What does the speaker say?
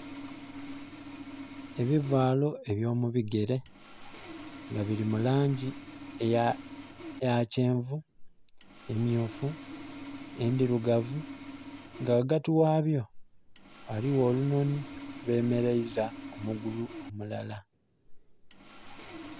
Ebivaalo ebyo mu bigere nga bili mu langi eya kyenvu, emyufu, endhirugavu nga ghagti ghabyo ghaligho olunonhi olwemereiza omugulu omulala.